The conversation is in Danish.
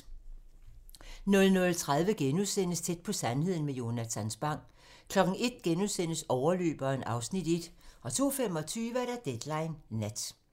00:30: Tæt på sandheden med Jonatan Spang * 01:00: Overløberen (Afs. 1)* 02:25: Deadline nat